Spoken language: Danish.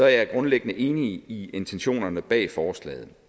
jeg grundlæggende enig i intentionerne bag forslaget